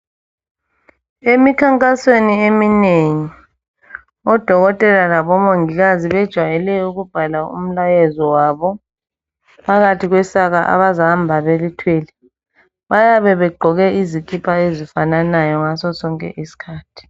Emikhankasweni eminengi odokotela labomongikazi bejwayele ukubhala umlayezo wabo phakathi kwesaka abazahamba belithwele bayabe begqoke izikipha ezifananayo ngaso sonke isikhathi.